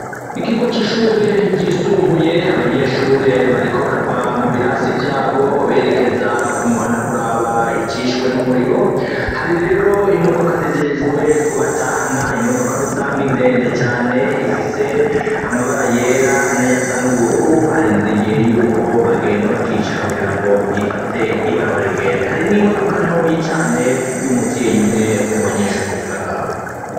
Ikigo c'ishure ryisumbuye abanyeshure bariko barava mu birasi vyabo berekeza ku muhana kuraba icishwe n'umuriro hari rero imodoka zijejwe ku batahana imodoka rusanga ndende cane ifise amabara yera nay'asa n'ubururu arindiriye yuko bagenda bakicara kugira ngo ifate ibarabara igende, hari n'imodoka ntoyi cane y'umuvyeyi umwe mu banyeshuri biga ngaho.